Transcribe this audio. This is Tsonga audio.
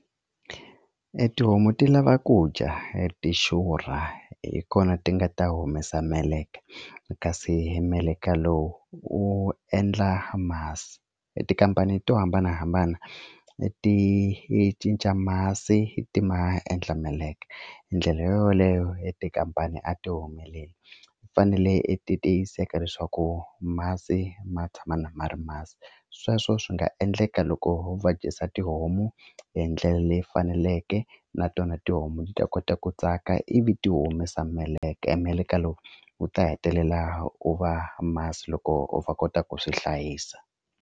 E tihomu ti lava ku dya ti xurha hi kona ti nga ta humesa meleke kasi hi meleka lowu u endla masi etikhampani to hambanahambana ti cinca masi ti ma endla meleke hi ndlela yo yoleyo etikhampani a ti humeleli fanele i tiyiseka leswaku masi ma tshama ma na ri masi sweswo swi nga endleka loko va dyisa tihomu hi ndlela leyi faneleke na tona tihomu ti ta kota ku tsaka ivi ti humesa meleke e meleke lowu wu ta hetelela u va masi loko u va kota ku swi hlayisa.